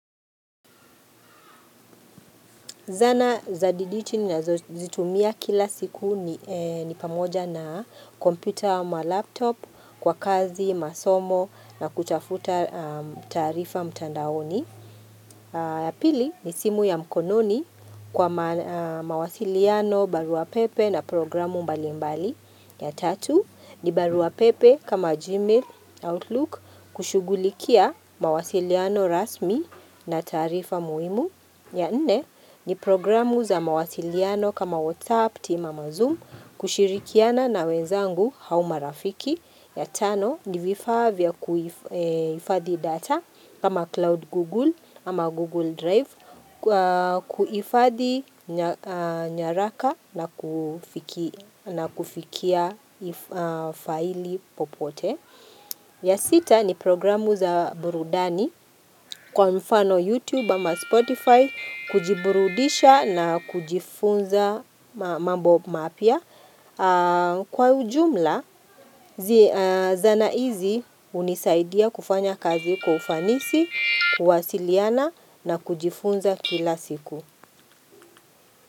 Zana za dijiti ninazo zitumia kila siku ni pamoja na kompyuta ama laptop kwa kazi, masomo na kutafuta taarifa mtandaoni. Pili ni simu ya mkononi kwa ma mawasiliano, barua pepe na programu mbali mbali. Ya tatu ni barua pepe kama Gmail, Outlook kushughulikia mawasiliano rasmi na taarifa muhimu. Ya nne ni programu za mawasiliano kama WhatsApp, team ama zoom, kushirikiana na wenzangu hau marafiki. Ya tano ni vifaa vya kuhifadhi data kama Cloud Google ama Google Drive, kuhifadhi nyaraka na kufiki nakufikia faili popote. Ya sita ni programu za burudani kwa mfano YouTube ama Spotify, kujiburudisha na kujifunza mambo mapya. Kwa ujumla, zi zana izi hunisaidia kufanya kazi kwa ufanisi, kuwasiliana na kujifunza kila siku.